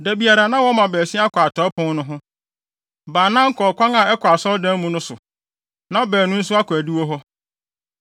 Da biara, na wɔma baasia kɔ atɔe pon no ho. Baanan kɔ ɔkwan a ɛkɔ asɔredan no mu no so, na baanu nso akɔ adiwo hɔ.